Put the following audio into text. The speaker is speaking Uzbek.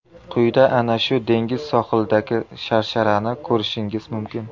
Quyida ana shu dengiz sohilidagi sharsharani ko‘rishingiz mumkin.